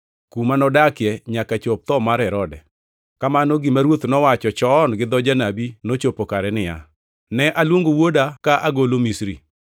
kuma nodakie nyaka chop tho mar Herode. Kamano gima Ruoth nowacho chon gi dho janabi nochopo kare niya, “Ne aluongo wuoda ka agolo Misri.” + 2:15 \+xt Hos 11:1\+xt*